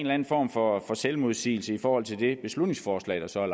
anden form for selvmodsigelse i forhold til det beslutningsforslag der så er